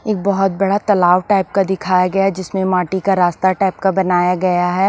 एक बहुत बड़ा तालाव टाइप का दिखाया गया है जिसमें माटी का रास्ता टाइप का बनाया गया है ।